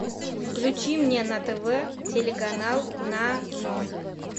включи мне на тв телеканал нано